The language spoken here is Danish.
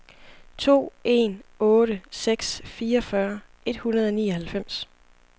to en otte seks fireogfyrre et hundrede og nioghalvfems